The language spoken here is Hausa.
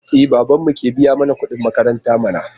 E, babanmu ke biya mana kuɗin makaranta mana.